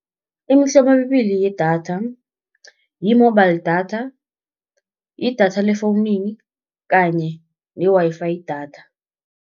Imihlobo emibili yedatha, yi-mobile data, yi-data lefowunini kanye ne-Wi-Fi data.